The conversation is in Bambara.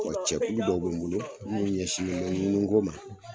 Cɛkulu dɔw bɛ n bolo minnu ɲɛsinnen bɛ ŋunu ko ma.